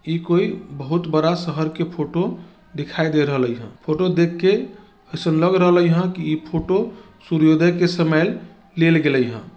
इ कोई बहुत बड़ा शहर के फोटो दिखाई दे रहले हई ह फोटो देख के अइसन लग रहल हई ह की ई फोटो सूर्योदय के समय लेल गेएल ह।